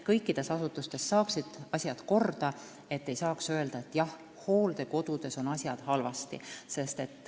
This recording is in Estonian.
Kõikides asutustes peaksid saama asjad korda, siis ei saaks enam öelda, et hooldekodudes on asjad halvasti.